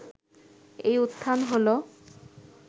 এই উত্থান হলো